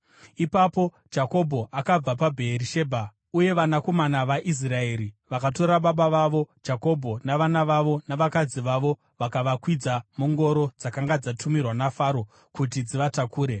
Ipapo Jakobho akabva paBheerishebha, uye vanakomana vaIsraeri vakatora baba vavo Jakobho navana vavo navakadzi vavo vakavakwidza mungoro dzakanga dzatumirwa naFaro kuti dzivatakure.